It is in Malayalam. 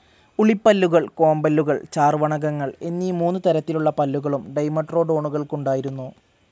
ഉളിപ്പല്ലുകൾ, കോമ്പല്ലുകൾ, ചാർവർണകങ്ങൾ എന്നീ മൂന്നു തരത്തിലുള്ള പല്ലുകളും ഡൈമെട്രോഡോണുകൾക്കുണ്ടായിരുന്നു